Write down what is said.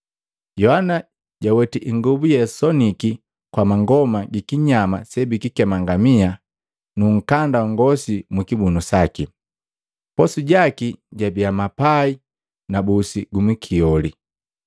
Yohana jaweti ingobu yeasoniki kwa mangoma gi kinyama sebikikema ngamia nu nkanda wa ngosi mukibunu saki. Posu jaki jabia mapai na busi gumwikioli.